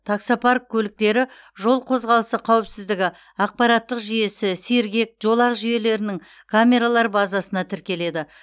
таксопарк көліктері жол қозғалысы қауіпсіздігі ақпараттық жүйесі сергек жолақ жүйелерінің камералар базасына тіркеледі